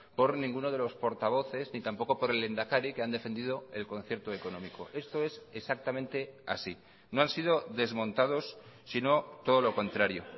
por ninguno de los portavoces ni tampoco por el lehendakari que han defendido el concierto económico esto es exactamente así no han sido desmontados sino todo lo contrario